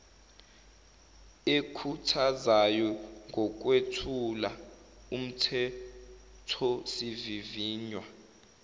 ekhuthazayo ngokwethula umthethosivivinywa